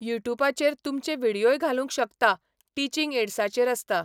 युटुपाचेर तुमचे विडयोय घालूंक शकता, टिचींग एड्साचेर आसता.